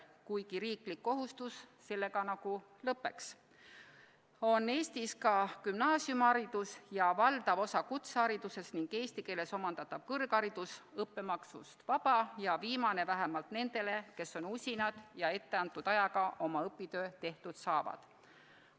Kuigi riiklik kohustus sellega nagu lõppeks, on Eestis ka gümnaasiumiharidus ja valdav osa kutseharidusest ning eesti keeles omandatav kõrgharidus õppemaksust vaba, seda viimast vähemalt nendele, kes on usinad ja etteantud ajaga oma õpingud lõpetatud saavad.